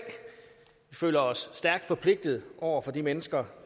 føler os stærkt forpligtet over for de mennesker